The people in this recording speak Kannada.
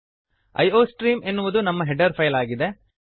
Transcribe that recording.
ಐಯೋಸ್ಟ್ರೀಮ್ ಎನ್ನುವುದು ನಮ್ಮ ಹೆಡರ್ ಫೈಲ್ ಆಗಿದೆ